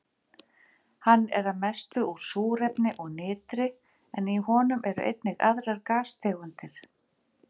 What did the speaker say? Hann er að mestu úr súrefni og nitri en í honum eru einnig aðrar gastegundir.